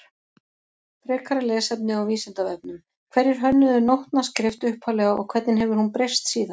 Frekara lesefni á Vísindavefnum Hverjir hönnuðu nótnaskrift upphaflega og hvernig hefur hún breyst síðan?